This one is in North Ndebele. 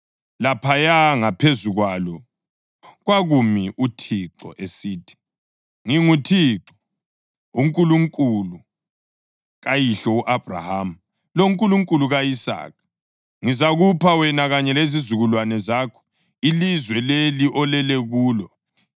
Laphaya ngaphezu kwalo kwakumi uThixo esithi: “ nginguThixo, uNkulunkulu kayihlo u-Abhrahama loNkulunkulu ka-Isaka. Ngizakupha wena kanye lezizukulwane zakho ilizwe leli olele kulo.